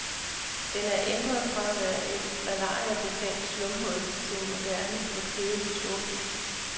Den er ændret fra at være et malariabefængt slumhul til en moderne lidt kedelig storby.